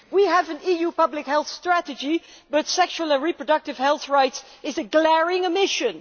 We have an EU public health strategy, but sexual and reproductive health rights are a glaring omission.